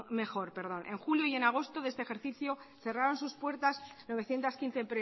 mejor en julio y en agosto de este ejercicio cerraron sus puertas novecientos quince